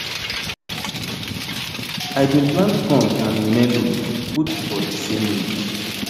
i bin plant corn and melo put for the same ridge